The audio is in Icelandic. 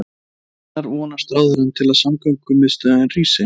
En hvenær vonast ráðherrann til að samgöngumiðstöðin rísi?